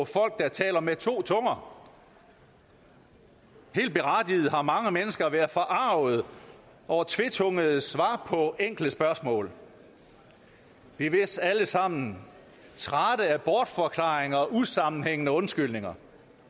folk der taler med to tunger helt berettiget har mange mennesker været forarget over tvetungede svar på enkle spørgsmål vi er vist alle sammen trætte af bortforklaringer og usammenhængende undskyldninger